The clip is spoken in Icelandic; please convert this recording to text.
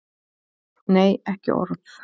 Nei, ekki orð.